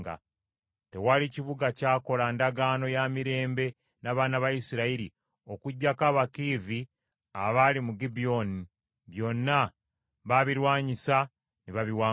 Tewali kibuga kyakola ndagaano ya mirembe n’abaana ba Isirayiri okuggyako Abakiivi abaali mu Gibyoni; byonna baabilwanyisa ne babiwangula,